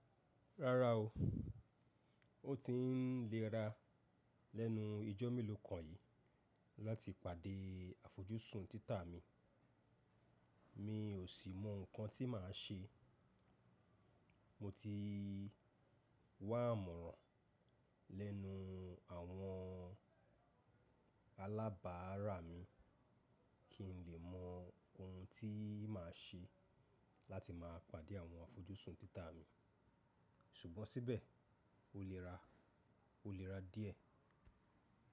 Rárá o, ó ti ń léra lẹ́nu ijó mélòó kan yìí láti pàdé àfojúsùn títà mi. Mi ò sì mọ nǹkan tí màá ṣe. Mo ti wà àmọ̀ràn lẹ́nu àwọn alábàárà mi kí n lè mọ ohun tí màá ṣe láti máa pàdé àwọn àfojúsùn títà mi. Ṣùgbọ́n síbẹ̀ ó léra, ó léra díẹ̀.